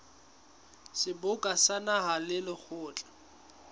seboka sa naha le lekgotla